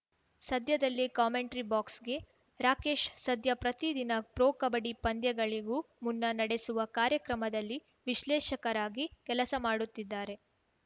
ಸದ್ಯದಲ್ಲೇ ಕಾಮೆಂಟ್ರಿ ಬಾಕ್ಸ್‌ಗೆ ರಾಕೇಶ್‌ ಸದ್ಯ ಪ್ರತಿ ದಿನ ಪ್ರೊ ಕಬಡ್ಡಿ ಪಂದ್ಯಗಳಿಗೂ ಮುನ್ನ ನಡೆಸುವ ಕಾರ್ಯಕ್ರಮದಲ್ಲಿ ವಿಶ್ಲೇಷಕರಾಗಿ ಕೆಲಸ ಮಾಡುತ್ತಿದ್ದಾರೆ